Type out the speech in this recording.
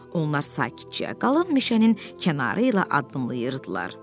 Onlar sakitcəyə, qalın meşənin kənarı ilə addımlayırdılar.